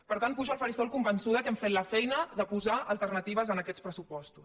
per tant pujo al faristol convençuda que hem fet la feina de posar alternatives en aquests pressupostos